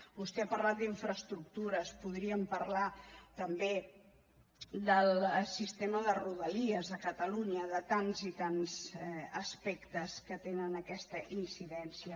vostè ha parlat d’infraestructures podríem parlar també del sistema de rodalies de catalunya de tants i tants aspectes que tenen aquesta incidència